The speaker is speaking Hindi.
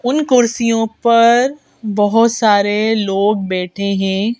उन कुर्सियों पर बहुत सारे लोग बैठे हैं।